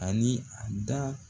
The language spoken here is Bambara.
Ani a da